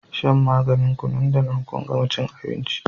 shan maganin ku nan da nan kun gama cin abinci